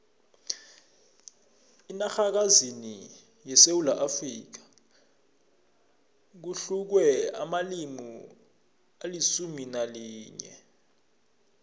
enarhakazini yesewula afrika kukhulunywa amalimi alisumu nalinye